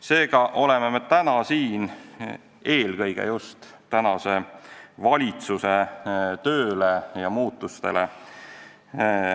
Seega oleme täna siin eelkõige just tänu praeguse valitsuse tööle muutunud suhtumisele.